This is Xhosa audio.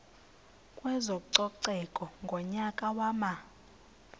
kwezococeko ngonyaka wama